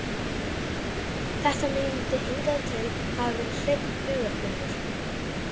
Þetta myndi hingað til hafa verið hreinn hugarburður.